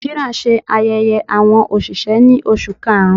Nàìjíríà ṣe ayẹyẹ awọn oṣiṣẹ ni Oṣu Karun.